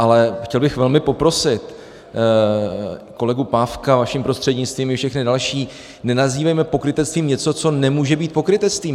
Ale chtěl bych velmi poprosit kolegu Pávka vaším prostřednictvím, i všechny další, nenazývejme pokrytectvím něco, co nemůže být pokrytectvím.